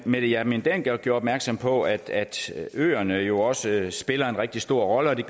mette hjermind dencker gjorde opmærksom på at øerne jo også spiller en rigtig stor rolle